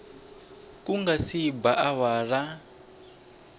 ku nga se ba awara